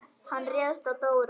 Hann réðst á Dóra.